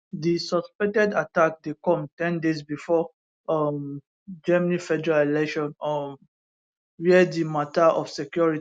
di suspected attack dey come ten days bifor um germany federal election um wia di mata of security